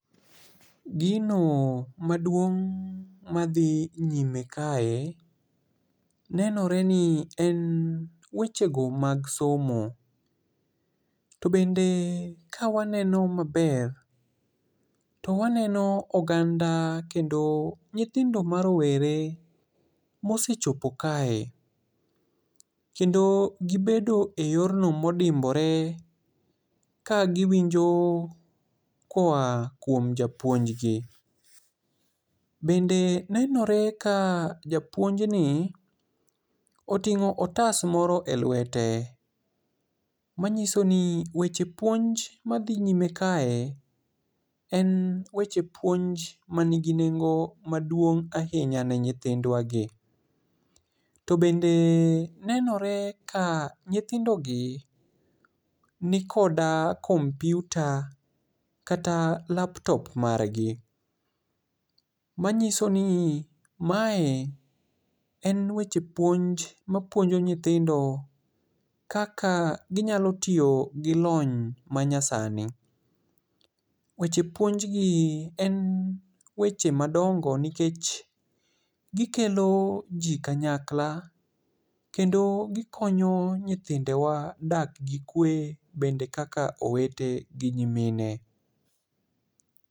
Gino maduong' madhi nyime kae, nenore ni en wechego mag somo. To bende ka waneno maber to waneno ganda kendo nyithindo ma rowere mosechopo kae kendo gibedo eyorno odimbore ka giwinjo koa kuom japuonjgi. Bende nenore ka japuonjni oting'o otas moro elwete. Manyiso ni weche puonj madhi nyime kae en weche puonj manigi nengo maduong' ahinya ne nyithindwa gi. To bende nenore ka nyithindogi nikoda kompiuta kata laptop margi manyisoni mae en weche puonj mapuonjo nyithindo kaka ginyalo tiyo gi lony manyasani. Weche puonj gi en weche madongo nikech gikeloji kanyakla kendo gikonyo nyithindewa dak gi kwe bende kaka owete gi nyimine.